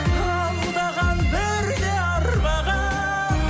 алдаған бірде арбаған